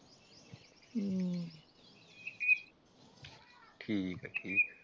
ਠੀਕ ਆ .